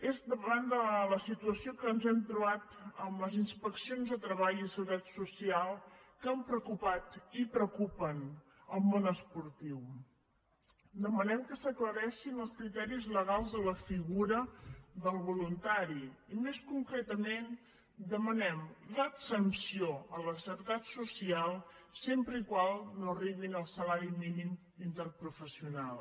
és davant de la situació que ens hem trobat amb les inspeccions de treball i seguretat social que han preocupat i preocupen el món esportiu demanem que s’aclareixin els criteris legals de la figura del voluntari i més concretament demanem l’exempció a la seguretat social sempre que no arribin al salari mínim interprofessional